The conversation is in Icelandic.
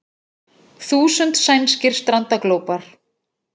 Þúsund sænskir strandaglópar